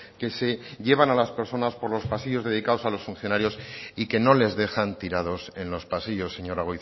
que se llevan a las personas por los pasillos dedicados a los funcionarios y que no les dejan tirados en los pasillos señora